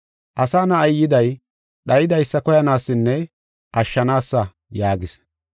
Asa Na7ay yiday dhayidaysa koyanaasanne ashshanaasa” yaagis.